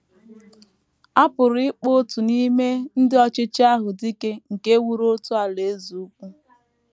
A pụrụ ịkpọ otu n’ime ndị ọchịchị ahụ dike nke wuru otu alaeze ukwu.